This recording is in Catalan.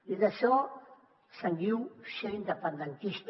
i d’això se’n diu ser independentista